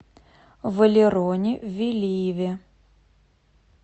валероне велиеве